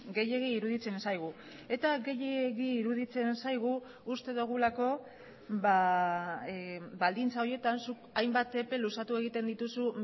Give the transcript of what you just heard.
gehiegi iruditzen zaigu eta gehiegi iruditzen zaigu uste dugulako baldintza horietan zuk hainbat epe luzatu egiten dituzu